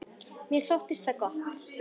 Mér þótti það gott.